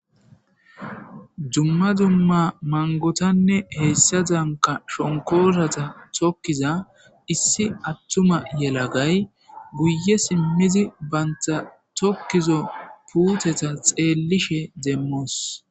dumma dumma mangotanne heyssa danka shonkosata tokkiza issi attuma yelagay guye simmizi bantha tokkizo puuteta xeellishe demmoos